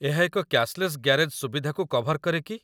ଏହା ଏକ cashless garage ସୁବିଧାକୁ କଭର କରେ କି?